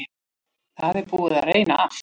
Það er búið að reyna allt.